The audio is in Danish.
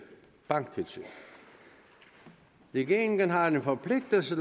banktilsyn regeringen har en forpligtelse